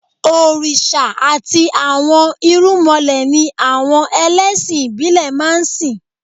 Òrìṣà àti àwọn irúnmọlẹ̀ ni àwọn ẹlẹ́sìn ìbílẹ̀ máa ń sìn